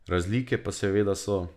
Razlike pa seveda so.